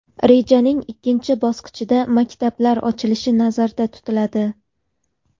Rejaning ikkinchi bosqichida maktablar ochilishi nazarda tutiladi.